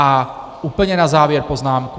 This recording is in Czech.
A úplně na závěr poznámku.